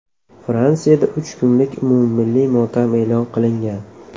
Fransiyada uch kunlik umummilliy motam e’lon qilingan.